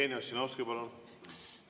Jevgeni Ossinovski, palun!